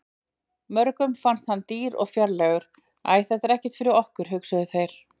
Mörgum fannst hann dýr og fjarlægur- æ þetta er ekkert fyrir okkur, hugsuðu þeir.